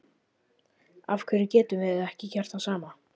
Af hverju getum við ekki gert það sama?